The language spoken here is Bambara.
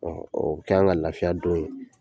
Ɔ ɔ o bɛ k'an ka lafiya don ye